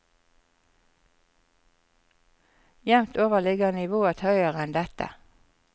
Jevnt over ligger nivået høyere enn dette.